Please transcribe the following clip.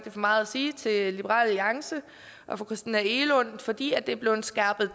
er for meget at sige til liberal alliance og fru christina egelund fordi det er blevet skærpet